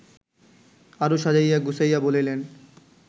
আরও সাজাইয়া-গুছাইয়া বলিলেন